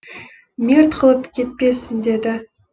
мерт қылып кетпесін деді